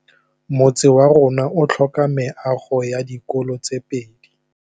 Motse warona o tlhoka meago ya dikolô tse pedi.